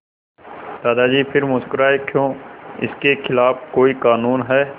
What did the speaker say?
दादाजी फिर मुस्कराए क्यों इसके खिलाफ़ कोई कानून है